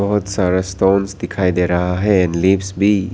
बहुत सारा दिखाई दे रहा है लिप्स भी।